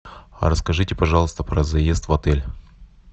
расскажите пожалуйста про заезд в отель